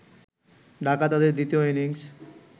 ঢাকা তাদের দ্বিতীয় ইনিংস